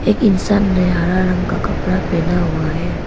इंसान ने हरा रंग का कपड़ा पहना हुआ है।